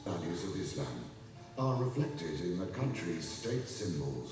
İslam dəyərləri ölkənin dövlət simvollarında əks olunur.